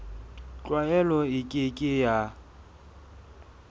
tlwaelo e ke ke ya